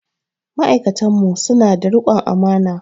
Ma'aikatan mu su na da riƙon amana